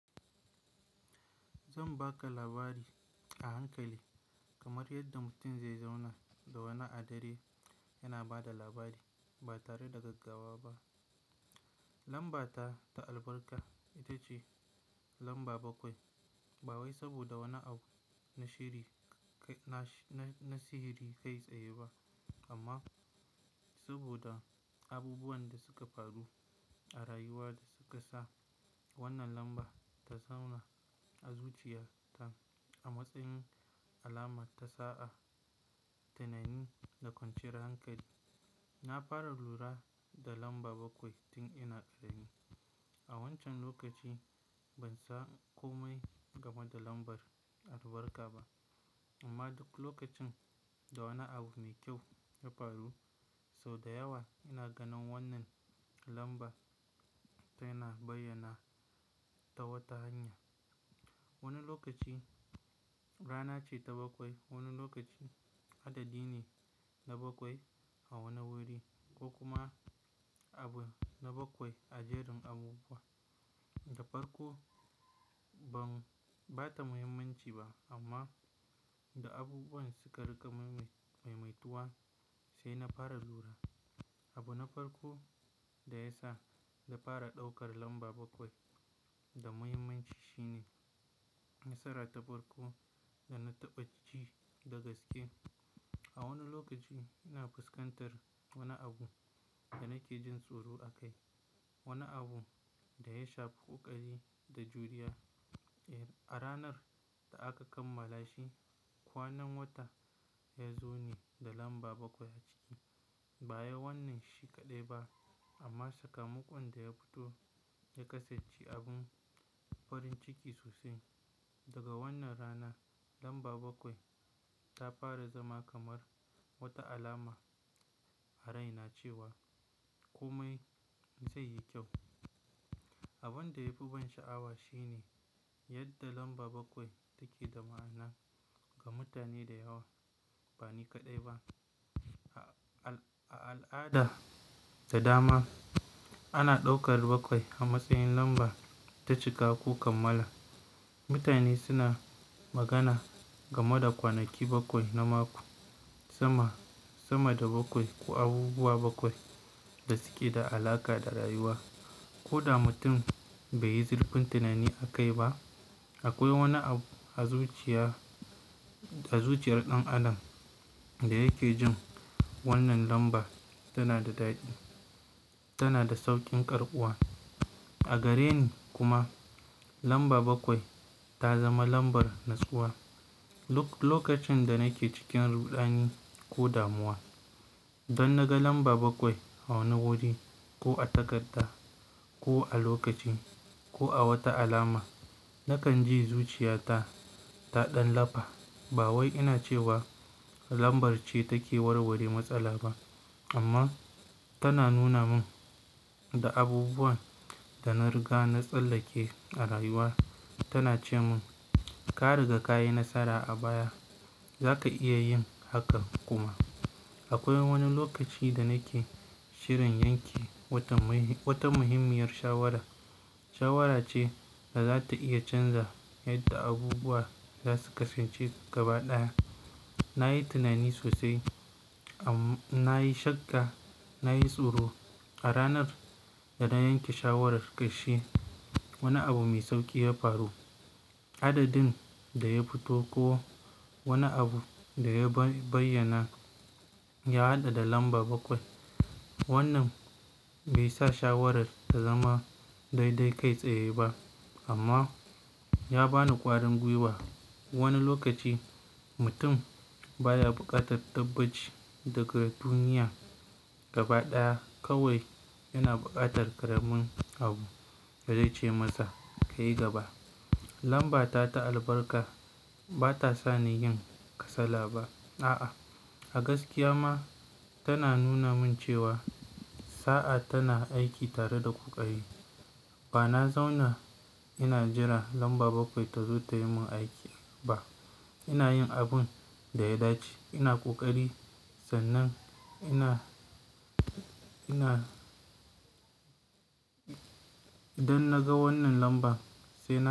Zan baka labari a hankali kamar yadda mutum zai zauna da wani a dare yana ba da labari ba tare da gaggawa ba. Lambata ta albarka ita ce lamba bakwai. Ba wai saboda wani abu na siri-- na sihirin kai tsaye ba amma saboda abubuwan da suka faru a rayuwa da suka sa wannan lambar ta zauna a zuciya ta a matsayin alama ta sa'a, tunani da ƙwanciyar hankali. Na fara lura da lamba bakwai tun ina ƙarami. A wancan lokaci ban san komai game da lambar albarka ba amma duk lokacin da wani abu mai kyau ya faru, sau da yawa ina ganin wannan lambar tai na bayyana ta wata hanya. Wani lokaci rana ce ta bakwai, wani lokaci adadi ne na bakwai a wani wuri ko kuma abu na bakwai a jerin abubuwa. Da farko ban-- bata muhimmanci ba amma da abubuwan suka rika maimaituwa sai na fara lura. Abu na farko da ya sa na fara ɗaukar lamba bakwai da muhimmanci shine nasara ta farko da na taɓa ji da gaske. A wani lokaci ina fuskantar wani abu da nake jin tsoro akai, wani abu da ya sha ƙoƙari da juriya. A ranar da aka kammala shi, kwanan wata ya zo ne da lamba bakwai a ciki. Ba wai wannan shi kaɗai ba amma sakamakon da ya fito ya kasance abin farin ciki sosai. Daga wannan rana lamba bakwai ta fara zama kamar wata alama a raina cewa komai zai yi kyau. Abin da ya fi ban sha'awa shi ne yadda lamba bakwai take da ma'ana ga mutane da yawa, ba ni kaɗai ba. A al'ada da dama ana ɗaukar bakwai a matsayin lamba ta cika ko kammala. Mutane suna magana game da kwanaki bakwai na mako, sama, sama da bakwai ko abubuwa bakwai da suke da alaƙa da rayuwa. Ko da mutum bai yi zurfin tunani akai ba, akwai wani abu a zuciya, a zuciyar ɗan adam da yake jin wannan lamba tana da daɗi, tana da sauƙin karɓuwa. A gare ni kuma lamba bakwai ta zama lambar natsuwa. Lokacin da nake cikin rudani ko damuwa, dan naga lamba bakwai a wani wuje ko a takarda ko a lokaci ko a wata alama, nakan ji zuciya ta ta ɗan lafa. Ba wai ina cewa lambar ce take warware matsala ba amma tana nuna mun da abubuwan da na riga na tsallake a rayuwa. Tana ce mun, "ka riga ka yi nasara a baya, za ka iya yin hakan kuma." Akwai wani lokaci da nake shirin yanke wata, wata muhimmiyar shawara. Shawara ce da za ta iya canza yadda abubuwa za su kasance gaba ɗaya. Na yi tunani sosai, amma na yi shakka, na yi tsoro. A ranar da na yanke shawarar ƙarshe, wani abu mai sauƙi ya faru. Adadin da ya fito ko wani abu da ya bayyana ya haɗa da lamba bakwai. Wannan bai sa shawarar ta zama daidai kai tsaye ba amma ya ba ni ƙwarin gwiwa. Wani lokaci mutum baya buƙatar tabbaci daga duniya gaba ɗaya kawai yana buƙatar ƙaramin abu ya dace masa kai gaba. Lambata ta albarka bata sa ni yin kasala ba. A'a, a gaskiya ma tana nuna mun cewa sa'a tana aiki tare da ƙoƙari. Ba na zauna ina jira lamba bakwai ta zo tayi mun aiki ba. Ina yin abin da ya dace, ina ƙoƙari sannan ina, ina-- idan naga wannan lambar sai na.